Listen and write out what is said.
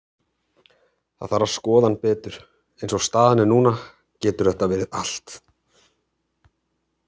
Það þarf að skoða hann betur, eins og staðan er núna getur þetta verið allt.